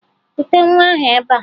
Kute nwa ahụ ebea!